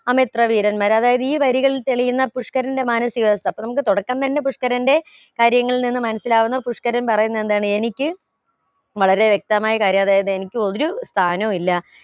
അമിത്ര വീരന്മാർ അതായത് ഈ വരികളിൽ തെളിയുന്ന പുഷ്ക്കരന്റെ മാനസികാവസ്ഥ അപ്പൊ നമ്മക് തുടക്കം തന്നെ പുഷ്ക്കരന്റെ കാര്യങ്ങളിൽ നിന്ന് മനസിലാകുന്ന പുഷ്ക്കരൻ പറയുന്നതെന്താണ് എനിക്ക് വളരെ വ്യക്തമായ കാര്യാ അതായത് എനിക്ക് ഒരു സ്ഥാനവു ഇല്ല